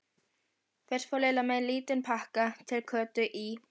Fyrst fór Lilla með lítinn pakka til Kötu í